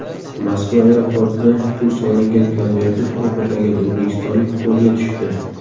Moskva aeroportida pul solingan konvertni o‘g‘irlagan o‘zbekistonlik qo‘lga tushdi.